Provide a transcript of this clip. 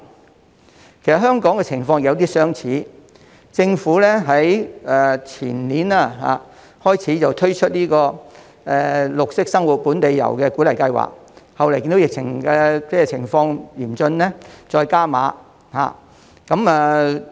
其實香港的情況有點相似，政府在前年開始推出綠色生活本地遊鼓勵計劃，後來因為疫情嚴峻，計劃獲再加碼。